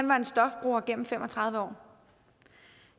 var stofbruger gennem fem og tredive år